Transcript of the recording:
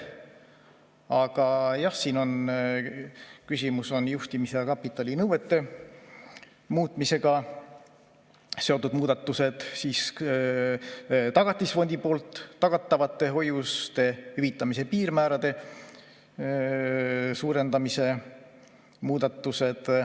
Aga jah, siin on küsimus juhtimis‑ ja kapitalinõuete muutmisega seotud muudatustes ning Tagatisfondi poolt tagatavate hoiuste hüvitamise piirmäärade suurendamises.